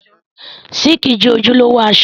Síìkì jẹ́ ojúlówó aṣọ